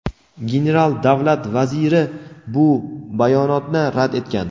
general Davlat Vaziri bu bayonotni rad etgan.